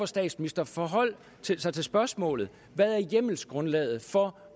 statsministeren forholde sig til spørgsmålet hvad er hjemmelsgrundlaget for